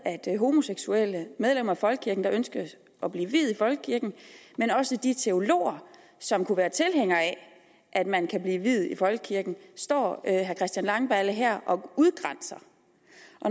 homoseksuelle medlemmer af folkekirken der ønsker at blive viet i folkekirken men også de teologer som kunne være tilhængere af at man kan blive viet i folkekirken står herre christian langballe her og udgrænser